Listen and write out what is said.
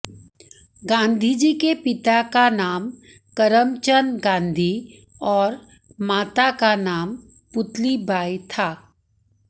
गांधी जी के पिता का नाम करमचन्द गांधी और माता का नाम पुतलीबाई था